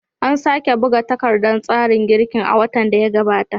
An sake buga takardar tsarin girkin a watan da ya gabata.